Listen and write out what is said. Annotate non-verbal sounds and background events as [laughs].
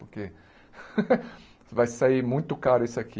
Porque [laughs] vai sair muito caro isso aqui.